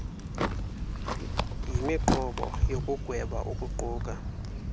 yimiqobo yokugweba ukuqukwa